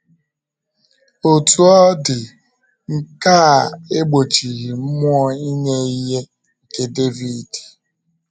Otú ọ dị, nke a egbochighị mmụọ inye ihe nke Devid.